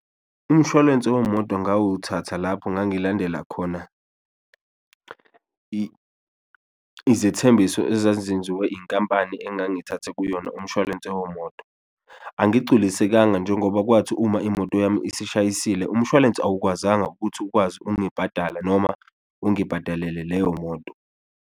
Umshwalense wemoto ngawuthatha lapho ngangilandela khona izethembiso ezazenziwe inkampani engangithathe kuyona umshwalense womoto, angigculisekanga njengoba kwathi uma imoto yami esishayisile umshwalense awukwazanga ukuthi ukwazi ungibhadala noma ungibhadalele leyo moto.